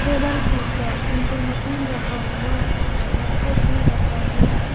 Table के ऊपर printer machine रखा हुआ है और लैपटॉप भी रखा हुआ है।